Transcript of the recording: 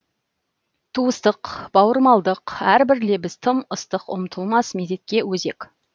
туыстық бауырмалдық әрбір лебіз тым ыстық ұмытылмас мезетке өзек